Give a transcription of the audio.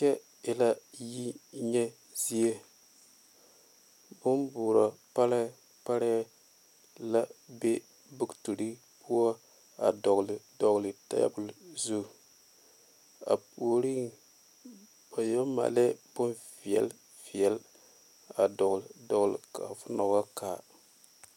Kyɛ e la yinyɛ zie bonboorɔ parɛɛ parɛɛ la be bootiri poɔ a dɔgle dɔgle tabol zu a puoriŋ ba yɛ maalɛɛ bonveɛle veɛle a dɔgle dɔgle ka fo na wa kaa.